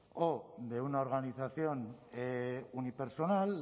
o de una organización unipersonal